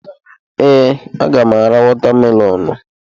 Ee, a ga m ara watamelonụ.